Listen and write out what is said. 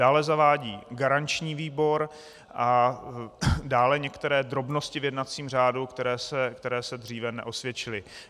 Dále zavádí garanční výbor a dále některé drobnosti v jednacím řádu, které se dříve neosvědčily.